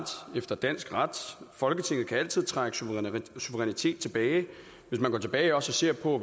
efter dansk ret folketinget kan altid trække suverænitet tilbage hvis man går tilbage og ser på